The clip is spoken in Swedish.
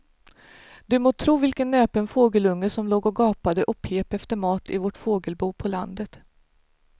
Du må tro vilken näpen fågelunge som låg och gapade och pep efter mat i vårt fågelbo på landet.